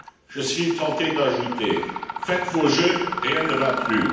Je suis tenté d'ajouter, faites vos jeux, rien ne va plus.